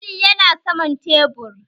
Alli yana saman tebur